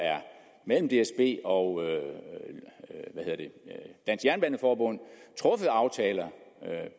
mellem dsb og hvad hedder det dansk jernbaneforbund er truffet aftaler